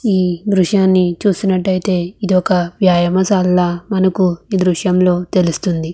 ఈ దృశ్యాని చూసినట్లయితే ఇది ఒక వ్యాయామశాల లాగా మనకు ఈ దృశ్యం లో తెలుస్తుంది .